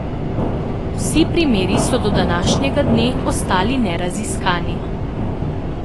Vsi primeri so do današnjega dne ostali neraziskani.